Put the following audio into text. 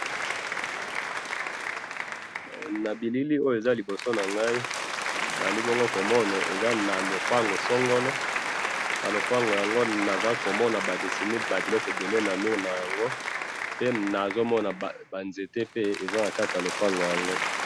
Nabilili oyo eza liboso nangayi, nazalibongo komona, eza nalopango songolo, nalopango yango nazakomona badesiné babiloko ebele na mure nayango, pe nazomona banzete pe eza kati yalopango yango